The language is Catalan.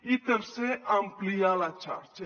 i tercer ampliar la xarxa